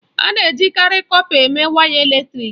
A na-ejikarị kọpa eme waya eletrịk.